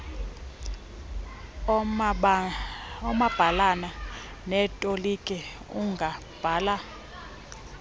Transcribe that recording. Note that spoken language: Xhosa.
oomabhalana neetoliki ungabhala